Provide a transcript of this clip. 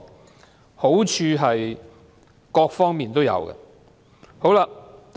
答案是在各方面皆有好處。